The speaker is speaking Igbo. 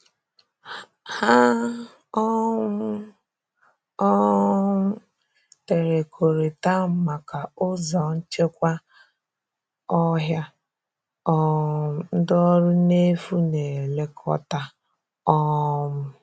Hà um um teè ọkọ̀rịta maka ụzọ̀ nchekwa ọhịa um ndị ọrụ n’efu na-elekọta. um